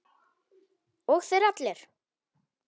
Og þeir allir!